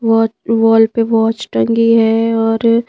वात वॉल पे वॉच टंगी है और--